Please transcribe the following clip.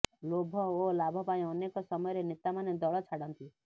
ଲୋଭ ଓ ଲାଭ ପାଇଁ ଅନେକ ସମୟରେ ନେତାମାନେ ଦଳ ଛାଡ଼ନ୍ତି